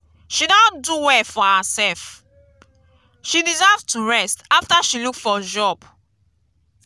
she don do well for herself. she deserve to rest after she look for job.